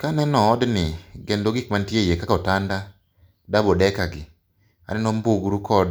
Kaneno odni, kendo gik mantie eiye kaka otanda, double decker gi, aneno mbugru kod